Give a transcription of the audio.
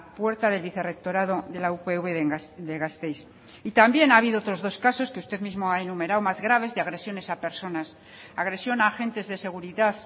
puerta del vicerrectorado de la upv de gasteiz y también ha habido otros dos casos que usted mismo ha enumerado más graves de agresiones a personas agresión a agentes de seguridad